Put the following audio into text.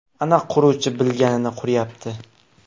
Ana quruvchi bilganini quryapti.